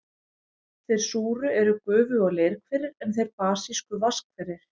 Þeir súru eru gufu- og leirhverir, en þeir basísku vatnshverir.